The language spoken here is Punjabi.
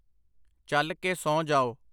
ਚੱਲ ਕੇ ਸੌਂ ਜਾਓ